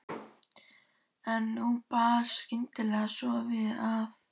En nú bar skyndilega svo við að